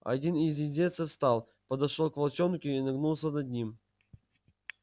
один из индейцев встал подошёл к волчонку и нагнулся над ним